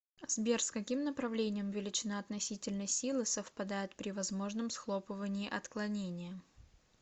сбер с каким направлением величина относительной силы совпадает при возможном схлопывании отклонения